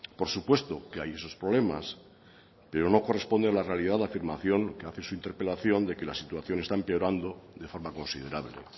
por supuesto que hay esos problemas pero no corresponde a la realidad afirmación que hace su interpelación de que la situación está empeorando de forma considerable